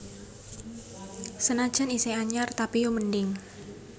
Senajan iseh anyar tapi yo mending